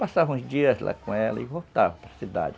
Passava uns dias lá com ela e voltava para cidade.